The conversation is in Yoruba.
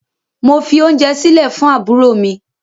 Mo fi ounje sile fun aburo mi